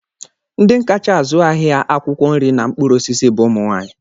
Ndị kacha azụ ahịa akwụkwọ nri na mkpụrụosisi bụ ụmụnwaanyị